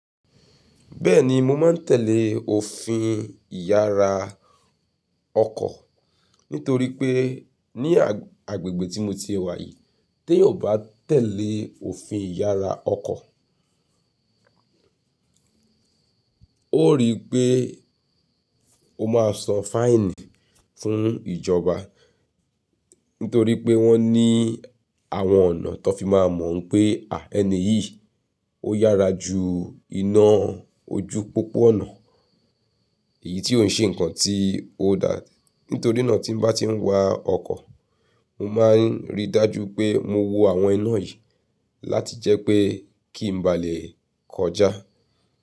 Bẹ́ẹ̀ni, mo máa ń tẹ̀lé òfin ìyára ọkọ̀ nítorí pé ní agbègbè tí mo ti e wà yìí, ti eyan o bá tẹ̀lé òfin ìyára ọkọ̀, ó rí pé o máa san fine fún ìjọba nítorí pé wọ́n ní àwọn ọ̀nà tó fi máa mọ̀ pé, à ẹni yìí ó yára ju iná ojú popọ̀ ọ̀nà èyí tí òun ṣe nǹkan tí ó dá. Nítorí náà tí n bá tí ń wa ọkọ̀, mo máa ń rí dájú pé mo wo àwọn iná yìí láti jẹ́ pé kí n ba lè kọjá.